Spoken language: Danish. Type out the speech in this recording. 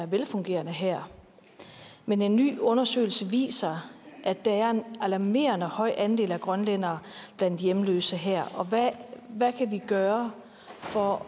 velfungerende her men en ny undersøgelse viser at der er en alarmerende høj andel af grønlændere blandt hjemløse her hvad kan vi gøre for